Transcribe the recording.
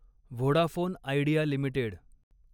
Vodafone Idea limited